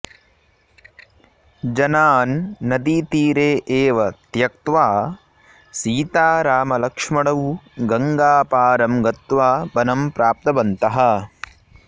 जनान् नदीतीरे एव त्यक्त्वा सीतारामलक्ष्मणौ गङ्गापारं गत्वा वनं प्राप्तवन्तः